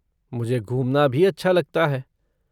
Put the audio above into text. मुझे घुमना भी अच्छा लगता है।